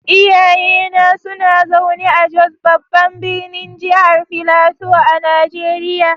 Iyayena suna zaune a Jos, babban birnin jihar Filato a Najeriya.